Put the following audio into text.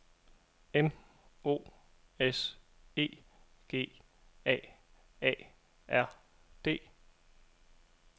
M O S E G A A R D